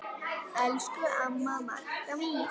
Elsku amma Magga mín.